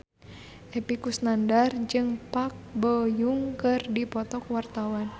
Epy Kusnandar jeung Park Bo Yung keur dipoto ku wartawan